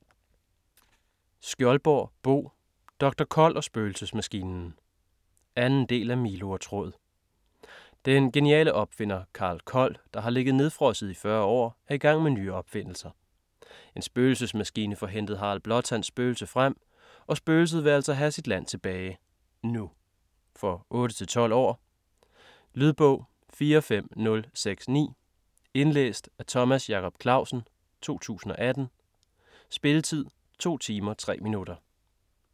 Skjoldborg, Bo: Doktor Kold og spøgelsesmaskinen 2. del af Milo & Tråd. Den geniale opfinder Karl Kold, der har ligget nedfrosset i 40 år, er i gang med nye opfindelser. En spøgelsesmaskine får hentet Harald Blåtands spøgelse frem, og spøgelset vil altså have sit land tilbage ... nu. For 8-12 år. Lydbog 45069 Indlæst af Thomas Jacob Clausen, 2018. Spilletid: 2 timer, 3 minutter.